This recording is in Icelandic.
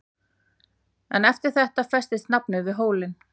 En eftir þetta festist nafnið við hólinn.